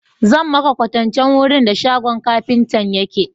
Zan maka kwasancen wurin da shagon kafintan yake.